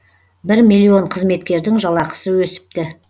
бір миллион қызметкердің жалақысы өсіпті